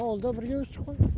ауылда бірге өстік қой